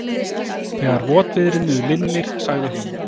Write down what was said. Þegar votviðrinu linnir, sagði hún.